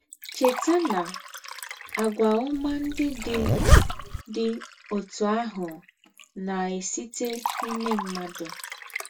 Chètà na, àgwà ọ́mà ndị̀ dị̀ dị̀ òtù àhụ̀ na-èsítè n’ímè mmádụ̀